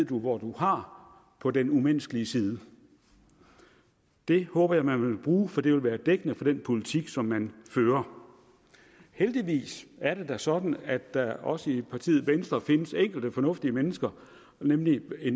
du hvor du har på den umenneskelige side det håber jeg at man vil bruge for det vil være dækkende for den politik som man fører heldigvis er det da sådan at der også i partiet venstre findes enkelte fornuftige mennesker nemlig